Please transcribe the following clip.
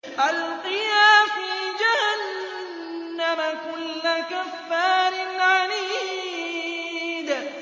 أَلْقِيَا فِي جَهَنَّمَ كُلَّ كَفَّارٍ عَنِيدٍ